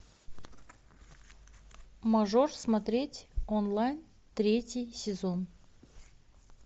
мажор смотреть онлайн третий сезон